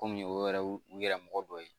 Kɔmi o yɛrɛ u yɛrɛ mɔgɔ dɔ ye